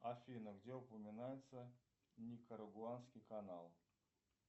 афина где упоминается никарагуанский канал